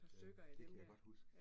Ja, det kan jeg godt huske